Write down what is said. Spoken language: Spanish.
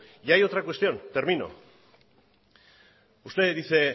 y hay otra cuestión termino usted dice